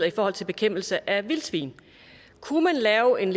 i forhold til kæmpelse af vildsvin kunne lave en